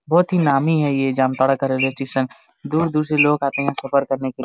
बहुत ही नामी है ये जामतारा का रेलवे स्टेशन दूर-दूर से लोग आते है सफर करने के लिए ।